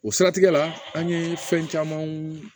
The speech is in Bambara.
O siratigɛ la an ye fɛn camanw